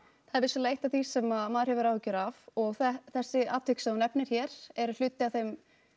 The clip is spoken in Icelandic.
það er vissulega eitt af því sem maður hefur áhyggjur af og þessi atvik sem þú nefnir hér eru hluti af þeim